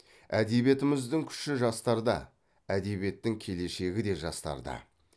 әдебиетіміздің күші жастарда әдебиеттің келешегі де жастарда